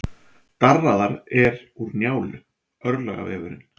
Darraðar er úr Njálu, örlagavefurinn.